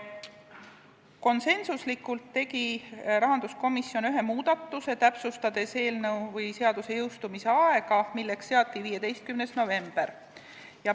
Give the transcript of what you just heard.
Konsensuslikult tegi rahanduskomisjon ühe muudatuse, täpsustades seaduse jõustumise aega, milleks seati 15. november.